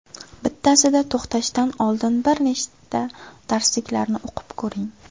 Bittasida to‘xtashdan oldin bir nechta darsliklarni o‘qib ko‘ring.